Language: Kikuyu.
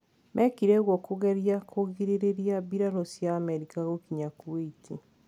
Mekire ũgwo kũgeria kũgirereria mbirarũ cia Amerika gũkinya Kuwait.